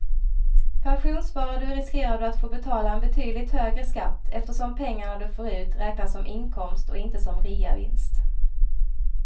Pensionssparar du riskerar du att få betala en betydligt högre skatt eftersom pengarna du får ut räknas som inkomst och inte som reavinst.